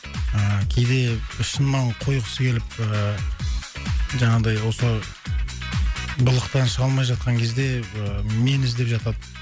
ыыы кейде шынымен қойғысы келіп ыыы жаңағындай осы былықтан шыға алмай жатқан кезде ыыы мені іздеп жатады